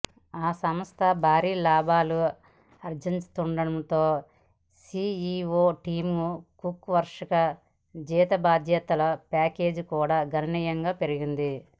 ఆ సంస్థ భారీ లాభాలు ఆర్జిస్తుండడంతో సీఈవో టిమ్ కుక్ వార్షిక జీతభత్యాల ప్యాకేజీ కూడా గణనీయంగా పెరిగింది